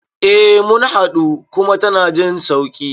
Eh mun haɗu kuma tana jin sauƙi